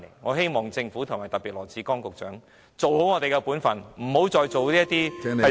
我希望政府特別是羅致光局長做好本分，不要再做一些傷天害理的事情。